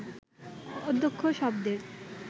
অধ্যক্ষ শব্দের